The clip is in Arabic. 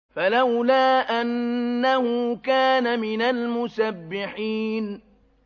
فَلَوْلَا أَنَّهُ كَانَ مِنَ الْمُسَبِّحِينَ